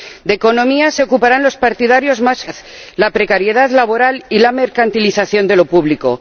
De economía se ocuparán los partidarios más feroces de la austeridad, la precariedad laboral y la mercantilización de lo público.